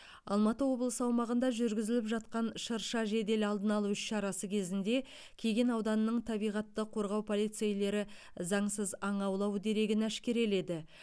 алматы облысы аумағында жүргізіліп жатқан шырша жедел алдын алу іс шарасы кезінде кеген ауданының табиғатты қорғау полицейлері заңсыз аң аулау дерегін әшкереледі